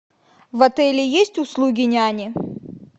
в отеле есть услуги няни